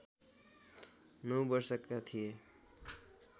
नौ वर्षका थिए